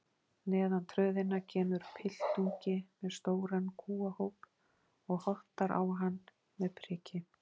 Neðan tröðina kemur piltungi með stóran kúahóp og hottar á hann með priki.